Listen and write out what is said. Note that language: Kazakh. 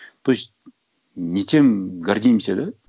то есть не тем гордимся да